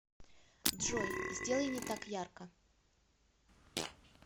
джой сделай не так ярко